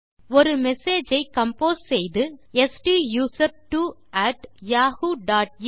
ஒரு மெசேஜ் ஐ கம்போஸ் செய்து ஸ்டூசர்ட்வோ அட் யாஹூ டாட் இன்